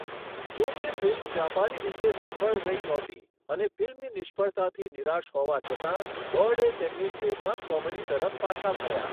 જો કે, ફિલ્મ વ્યાપારી રીતે સફળ રહી નહોતી અને ફિલ્મની નિષ્ફળતાથી નિરાશ હોવા છતાં, બર્ડે તેમની ટ્રેડમાર્ક કોમેડી તરફ પાછા ફર્યા.